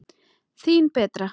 Þín Berta.